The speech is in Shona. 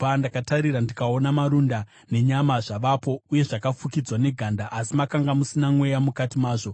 Ndakatarira, ndikaona marunda nenyama zvavapo uye zvakafukidzwa neganda, asi makanga musina mweya mukati mazvo.